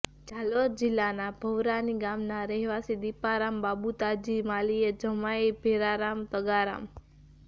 જાલોર જિલ્લાના ભવરાની ગામના રહેવાસી દિપારામ બબુતાજી માલીએ જમાઇ ભેરારામ તગારામ